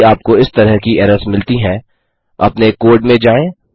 यदि आपको इस तरह की एरर्स मिलती हैं अपने कोड में जाएँ